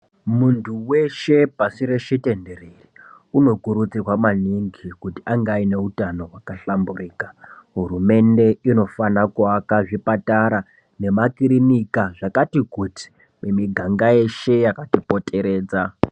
Muntu veshe pashireshe tenderere unokurudzirwa maningi kuti angeaine utano hwakahlamburuka. Hurumende inofana kuvaka zvipatara nemakirinika zvakati kuti mumiganga yeshe yakati kati poteredza.